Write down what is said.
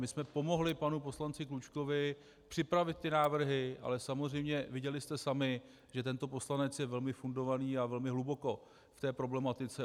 My jsme pomohli panu poslanci Klučkovi připravit ty návrhy, ale samozřejmě viděli jste sami, že tento poslanec je velmi fundovaný a velmi hluboko v té problematice.